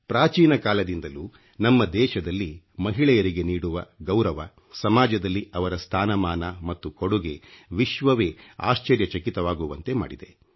ಪ್ರಾಚೀನ ಕಾಲದಿಂದಲೂ ನಮ್ಮ ದೇಶದಲ್ಲಿ ಮಹಿಳೆಯರಿಗೆ ನೀಡುವ ಗೌರವ ಸಮಾಜದಲ್ಲಿ ಅವರ ಸ್ಥಾನಮಾನ ಮತ್ತು ಕೊಡುಗೆ ವಿಶ್ವವೇ ಆಶ್ಚರ್ಯಚಕಿತವಾಗುವಂತೆ ಮಾಡಿದೆ